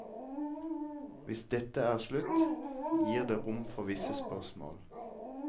Hvis dette er slutt, gir det rom for visse spørsmål.